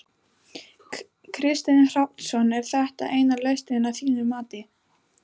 Kristinn Hrafnsson: Er þetta eina lausnin að þínu mati?